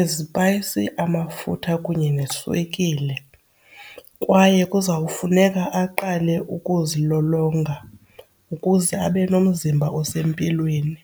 izipayisi amafutha kunye neswekile. Kwaye kuzawufuneka aqale ukuzilolonga ukuze abe nomzimba osempilweni.